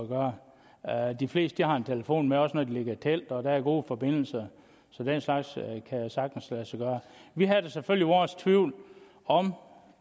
gøre de fleste har en telefon med også når de ligger i telt og der er god forbindelse så den slags kan sagtens lade sig gøre vi havde da selvfølgelig vores tvivl om